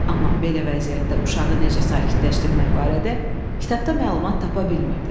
Amma belə vəziyyətdə uşağı necə sakitləşdirmək barədə kitabda məlumat tapa bilmirdi.